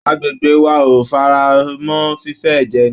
Agbègbè wa ò faramọ́ fífé ẹ̀jẹ̀ ẹni